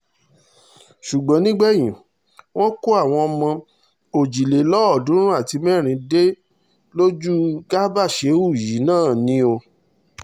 ṣùgbọ́n nígbẹ̀yìn wọ́n kó àwọn ọmọ òjìlélọ́ọ̀ọ́dúnrún àti mẹ́rin dé lójú garba shehu yìí náà ni o